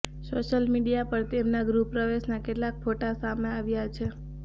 social media પર તેમના ગૃહપ્રવેશ ના કેટલાક ફોટા સામે આવ્યા છે